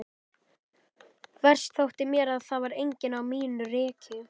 Verst þótti mér að það var enginn á mínu reki.